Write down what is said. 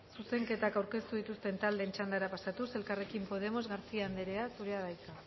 zuzenketak aurkeztu dituzten taldeen txandara pasatuz elkarrekin podemos garcía andrea zurea da hitza